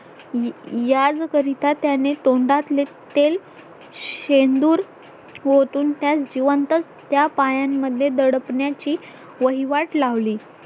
याजकरितां त्याने तोंडात तेल शेंदूर ओतून त्या जीवंतच त्या पायांमध्ये दडपण्याची वहीवाट लावली